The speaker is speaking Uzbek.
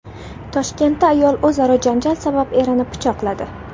Toshkentda ayol o‘zaro janjal sabab erini pichoqladi.